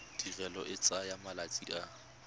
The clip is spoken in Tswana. tirelo e tsaya malatsi a